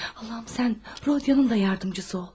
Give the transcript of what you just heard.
Allahım, sən Rodya'nın da yardımçısı ol.